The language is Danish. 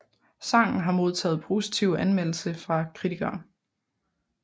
Sangen har modtaget positive anmeldelser fra kritikere